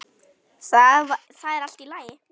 Það er allt í lagi.